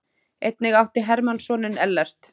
Einnig átti Hermann soninn Ellert.